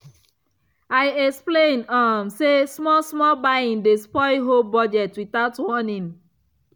i explain um say small-small buying dey spoil whole budget without warning.